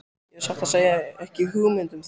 Ég hef satt að segja ekki hugmynd um það.